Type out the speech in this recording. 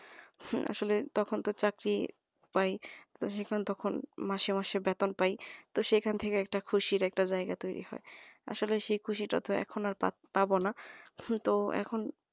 আসলে তখন তো চাকরি পাই তো সেখানে তখন মাসে মাসে বেতন পাই তো সেখান থেকে একটা খুশির একটা জায়গায় তৈরি হয়। আসলে সেই খুশিটা তো এখন আর পাবো না তো এখন